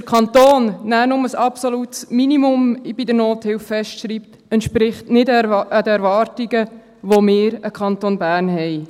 Dass der Kanton nur ein absolutes Minimum bei der Nothilfe festschreibt, entspricht nicht den Erwartungen, die wir an den Kanton Bern haben.